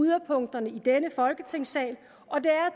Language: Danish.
yderpunkterne i denne folketingssal og det er